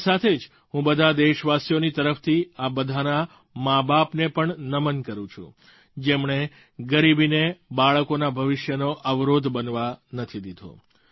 તેની સાથે જ હું બધાં દેશવાસીઓની તરફથી આ બધાંનાં માબાપને પણ નમન કરું છું જેમણે ગરીબીને બાળકોના ભવિષ્યનો અવરોધ બનવા નથી દીધી